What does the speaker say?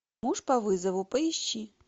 муж по вызову поищи